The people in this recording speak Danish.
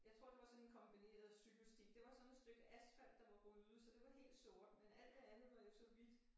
Jeg tror det var sådan en kombineret cykelsti det var sådan et stykke asfalt der var ryddet så det var helt sort men alt det andet var jo så hvidt